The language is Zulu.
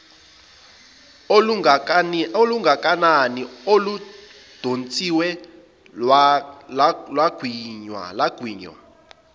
olungakanani oludonsiwe lwagwinywa